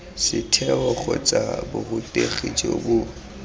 setheo kgotsa borutegi jo bo